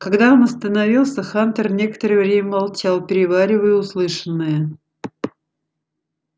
когда он остановился хантер некоторое время молчал переваривая услышанное